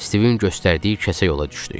Stivin göstərdiyi kəsə yola düşdük.